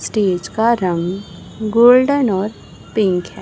Stage का रंग golden और पिंक है।